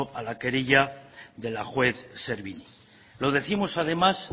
a la querella de la juez lo décimos además